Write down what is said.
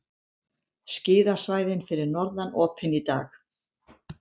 Skíðasvæðin fyrir norðan opin í dag